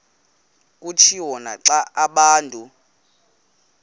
kutshiwo naxa abantu